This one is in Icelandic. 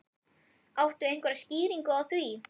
Áttu einhverja skýringu á því?